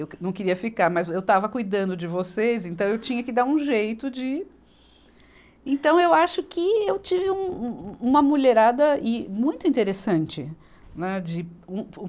Eu que não queria ficar, mas eu estava cuidando de vocês, então eu tinha que dar um jeito de. Então eu acho que eu tive um, um, um, uma mulherada muito interessante, né, de.